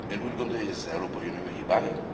Ön úgy gondolja, hogy ez az Európai Unió hibája?